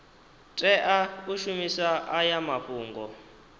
tea u shumisa aya mafhungo